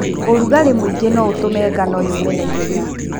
ũrugarĩ mũingĩ noũtũme ngano yũme naihenya.